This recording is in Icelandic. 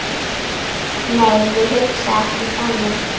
Nei, ég hugsa ekki þannig.